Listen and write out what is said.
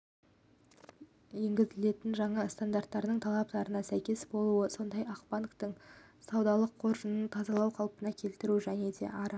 енгізілетін жаңа стандарттарының талаптарына сәйкес болуы сондай-ақ банктің ссудалық қоржынын тазалау қалпына келтіру және ары